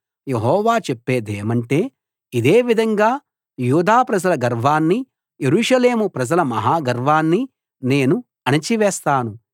యెహోవా చెప్పేదేమంటే ఇదే విధంగా యూదా ప్రజల గర్వాన్ని యెరూషలేము ప్రజల మహా గర్వాన్ని నేను అణచివేస్తాను